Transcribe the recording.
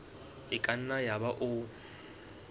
e ka nna yaba o